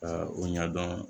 o ɲɛdɔn